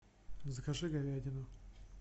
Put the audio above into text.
закажи говядину